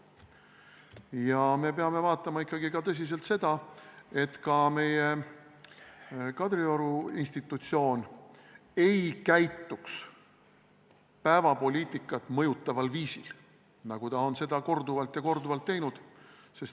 Ja me peame ikkagi tõsiselt vaatama ka seda, et meie Kadrioru institutsioon ei käituks päevapoliitikat mõjutaval viisil, nagu ta on seda korduvalt ja korduvalt teinud.